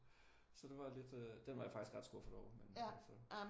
Så det var lidt øh den var jeg faktisk ret skuffet over men altså